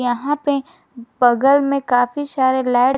यहां पे बगल में काफी सारे लाइट --